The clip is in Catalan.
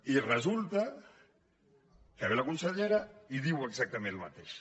i resulta que ve la consellera i diu exactament el mateix